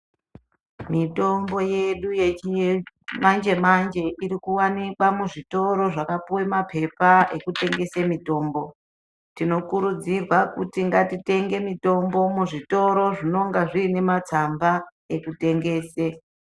Mitombo yedu yechinye mañje manje iri kuwanikwa muzvitoro zvakapiwe mapepa ekutengese mitomno tinokurudzirwa kuti ngatitenge mutombo muzvitoro zvinenge zviine matsamba ekutengese.